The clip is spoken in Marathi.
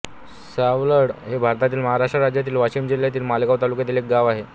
सावलाड हे भारतातील महाराष्ट्र राज्यातील वाशिम जिल्ह्यातील मालेगाव तालुक्यातील एक गाव आहे